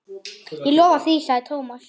Ég lofa því sagði Thomas.